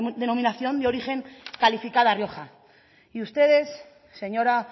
denominación de origen calificada rioja y ustedes señora